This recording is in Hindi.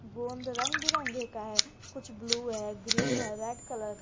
गोंद रंग बिरंगे का है कुछ ब्लू है ग्रीन है रेड कलर का है।